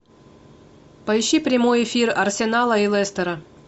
поищи прямой эфир арсенала и лестера